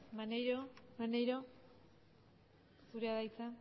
maneiro zurea da hitza